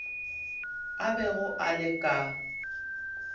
a bego a le ka